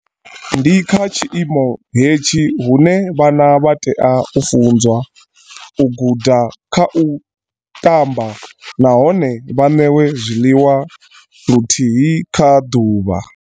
Ndi kha tshi imo hetshi hune vhana vha tea u funzwa, u guda kha u ṱamba nahone vha ṋewe zwiḽiwa luthihi kha ḓuvha.